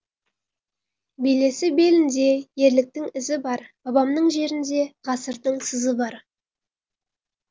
белесі белінде ерліктің ізі бар бабамның жерінде ғасырдың сызы бар